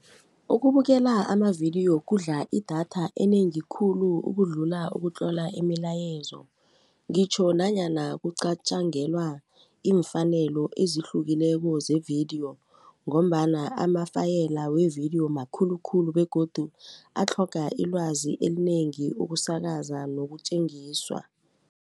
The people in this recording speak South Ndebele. Ukubukela amavidiyo kudla idatha enengi khulu ukudlula ukutlola imilayezo ngitjho nanyana kuqatjangelwa iimfanelo ezihlukileko zevidiyo ngombana amafayela wevidiyo makhulu khulu begodu atlhoga ilwazi elinengi ukusakaza nokutjengiswa.